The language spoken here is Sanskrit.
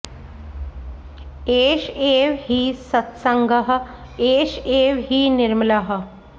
एष एव हि सत्सङ्गः एष एव हि निर्मलः